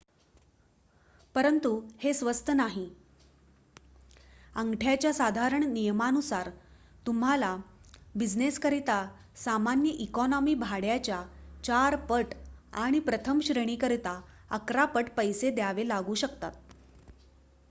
परंतु हे स्वस्त नाहीः अंगठ्याच्या साधारण नियमानुसार तुम्हाला बिझिनेसकरिता सामान्य इकॉनॉमी भाड्याच्या 4 पट आणि प्रथम श्रेणीकरिता अकरा पट पैसे द्यावे लागू शकतात